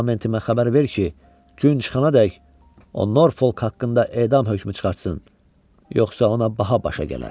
Parlamentimə xəbər ver ki, gün çıxanadək o Norfolk haqqında edam hökmü çıxartsın, yoxsa ona baha başa gələr.